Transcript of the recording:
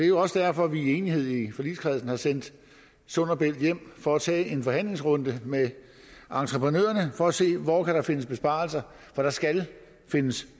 jo også derfor at vi i enighed i forligskredsen har sendt sund bælt hjem for at tage en forhandlingsrunde med entreprenørerne for at se hvor der kan findes besparelser for der skal findes